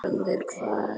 Árangur hvað?